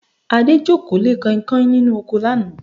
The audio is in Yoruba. Adé jókòó lé Kanhinkanhin nínú oko lánàá